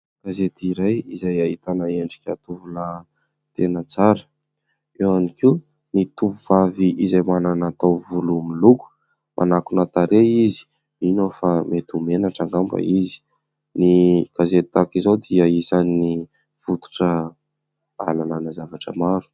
Gazety iray izay ahitana endrika tovolahy tena tsara ; eo ihany koa ny tovovavy izay manana taovolo miloko ; manakona tarehy izy mino aho fa mety ho menatra angamba izy. Ny gazety tahaka izao dia isan'ny fototra halalanà zavatra maro.